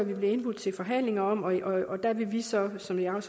vi bliver indbudt til forhandlinger om og der vil vi så som jeg